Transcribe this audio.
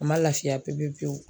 A ma lafiya pe pe pewu.